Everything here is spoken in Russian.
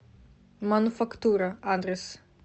мануфактура адрес